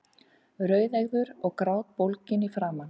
Rauðeygður og grátbólginn í framan.